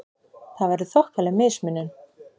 Það væri þokkaleg mismunun!